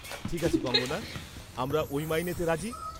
-ঠিক আছে কঙ্গনা, আমরা ওই মাইনেতে রাজি।